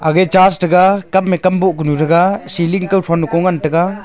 aga church taga kame kam boh kunu taega ceiling kao thoh nu kao ngan taega.